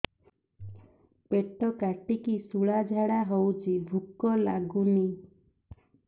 ପେଟ କାଟିକି ଶୂଳା ଝାଡ଼ା ହଉଚି ଭୁକ ଲାଗୁନି